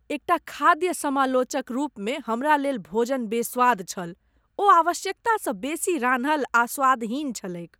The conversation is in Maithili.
एकटा खाद्य समालोचक रूपमे हमरा लेल भोजन बेस्वाद छल। ओ आवश्यकता सँ बेसी रान्हल आ स्वादहीन छलैक ।